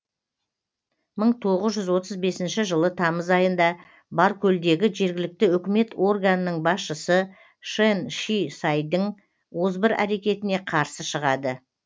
мың тоғыз жүз отыз бесінші жылы тамыз айында баркөлдегі жергілікті өкімет органының басшысы шэн ши сайдің озбыр әрекетіне қарсы шығады